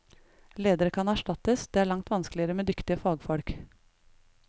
Ledere kan erstattes, det er langt vanskeligere med dyktige fagfolk.